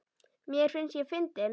Mér finnst ég fyndin.